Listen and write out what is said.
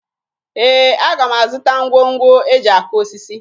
Ee, aga m azụta ngwongwo e ji akụ osisi